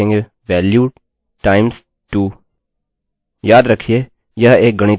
याद रखिये यह एक गणितीय ऑपरेटर है एक अरिथ्मेटिकल ऑपरेटर जिसे मैंने आपको पहले दिखाया था